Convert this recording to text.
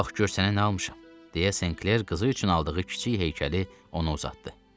Bax gör sənə nə almışam, deyə Sinkler qızı üçün aldığı kiçik heykəli ona uzatdı.